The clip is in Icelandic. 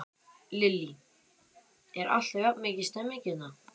Lillý: Er alltaf jafn mikil stemning hérna?